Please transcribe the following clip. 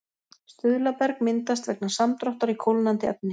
Stuðlaberg myndast vegna samdráttar í kólnandi efni.